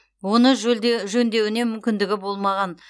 оны жөндеуіне мүмкіндігі болмаған